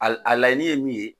A la laɲini ye min ye.